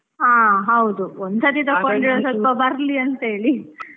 ಹಾ ಹೌದು, ಬರ್ಲಿ ಅಂತೇಳಿ.